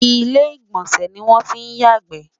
ilé igbọnsẹ ní wọn tí yà gbe